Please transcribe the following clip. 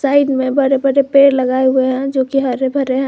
Side में बड़े बड़े पेड़ लगाये हुए है जो कि हरे भरे है।